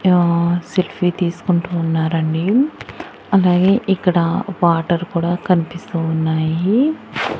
య్నో selfie తీసుకుంటూ ఉన్నారండి అలాగే ఇక్కడ వాటర్ కూడా కనిపిస్తూ ఉన్నాయి.